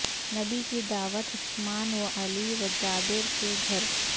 نبی کی دعوت عثمان و علی و جابر کے گھر